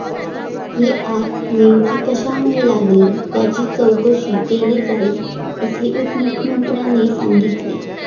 ही आग नेमकी कशामुळे लागली याची चौकशी केली जाईल, असे उपमुख्यमंत्र्यांनी सांगितले.